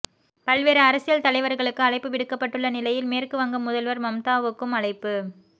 பல்வேறு அரசியல் தலைவர்களுக்கு அழைப்பு விடுக்கப்பட்டுள்ள நிலையில் மேற்கு வங்க முதல்வர் மம்தாவுக்கும் அழைப்பு